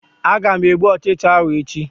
Aga m egbu Ụchịcha ahụ echi